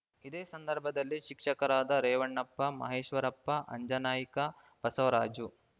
ಇದೇ ಸಂದರ್ಭದಲ್ಲಿ ಶಿಕ್ಷಕರಾದ ರೇವಣ್ಣಪ್ಪ ಮಹೇಶ್ವರಪ್ಪ ಅಂಜನನಾಯ್ಕ ಬಸವರಾಜು